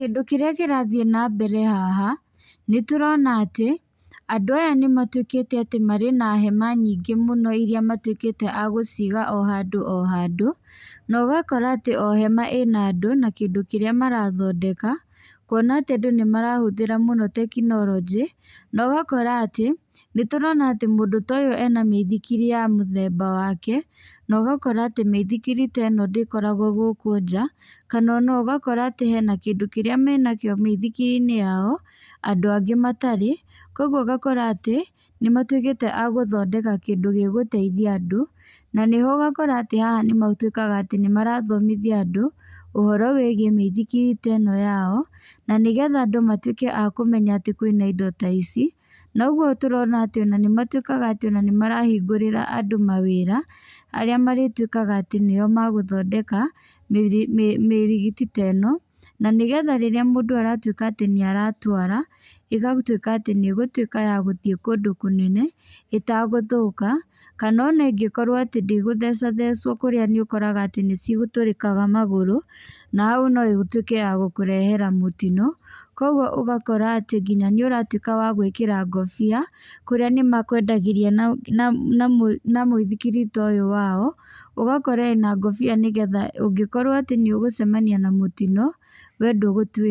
Kĩndũ kĩrĩa kĩrathiĩ na mbere haha nĩtũrona atĩ, andũ aya nĩ matuĩkĩte atĩ marĩ na hema nyingĩ mũno irĩa matuĩkĩte a gũciga o handũ. Na ũgakora atĩ o hema ĩna andũ na kĩrĩa marathondeka. Kuona atĩ andũ nĩ marahũthĩra mũno tekinoronjĩ, na ũgakora atĩ, nĩ tũrona atĩ mũndũ ta ũyũ ena mĩithikiri ya mũthemba wake, na ũgakora atĩ mĩithikiri ta ĩno ndĩkoragwo gũkũ nja. Kana ona ũgakora atĩ hena kĩndũ kĩrĩa menakĩo mĩithikiri-inĩ yao, andũ angĩ matarĩ. Koguo ũgakora atĩ nĩ matuĩkĩte a gũthondeka kĩndũ gĩgũteithia andũ, na nĩho ũgakora atĩ nĩmatwĩkaga atĩ nĩ marathomithia ũhoro wĩgiĩ mĩithikiri ta ĩno yao. Na nĩgetha andũ matuĩke a kũmenya atĩ kwĩna indo ta ici. Noguo tũrona atĩ ona nĩ matuĩkaga atĩ ona nĩ marona marahingũĩra andũ mawĩra, arĩa matuĩkaga nĩo megũthondeka mĩrigiti ta ĩno. Na nĩgetha rĩrĩa mũndũ aratuĩka atĩ nĩ aratwara, ĩgatuĩka atĩ nĩ ĩgũtuĩka ya gũthii kũndũ kũnene ĩtagũthũka. Kana ona ĩngĩkorwo atĩ ndĩgũthecathecwo kũrĩa nĩ ũkoraga atĩ nĩ citũrĩkaga magũrũ na hau no ĩtuĩke ya gũkũrehera mũtino. Koguo ũgakora atĩ nginya nĩ ũratuĩka wa gwĩkĩra ngobia, kũrĩa nĩ makwendagĩria na mũithikiri ta ũyũ wao. Ũgakora ĩna ngobia nĩgetha ũngĩkorwo atĩ nĩ ũngĩcemania na mũtino, we ndũgũtuĩka.